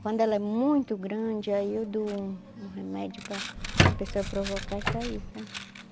Quando ela é muito grande, aí eu dou um um remédio para para a pessoa provocar e sair, sabe?